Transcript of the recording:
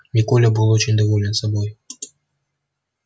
и коля был очень доволен собой